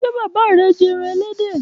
Ṣe baba rẹ jẹ ẹran ẹlẹdẹ?